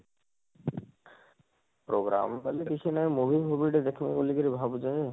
program ଖାଲି କିଛି ନାହିଁ movie ଫୁଭି ଟିକେ ଦେଖିବି ବୋଲିକରି ଭାବୁଛେଁ